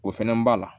O fɛnɛ b'a la